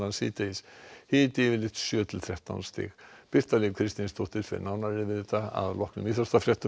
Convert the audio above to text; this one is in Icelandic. síðdegis hiti yfirleitt sjö til þrettán stig Birta Líf Kristinsdóttir fer nánar yfir þetta strax að loknum íþróttafréttum